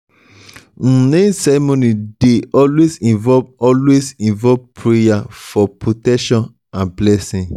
um naming ceremony dey always involve always involve prayer for protection and blessing